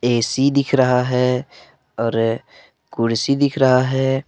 AC दिख रहा है और कुर्सी दिख रहा है।